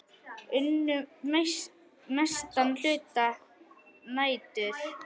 Unnu mestan hluta nætur.